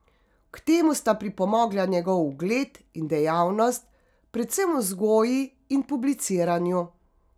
K temu sta pripomogla njegov ugled in dejavnost, predvsem v vzgoji in publiciranju.